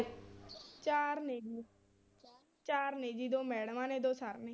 ਚਾਰ ਨੇ ਜੀ ਚਾਰ ਨੇ ਜੀ ਦੋ ਮੈਡਮਾਂ ਨੇ ਦੋ ਸਰ ਨੇ।